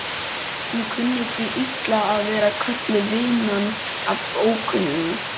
Hún kunni því illa að vera kölluð vinan af ókunnugum.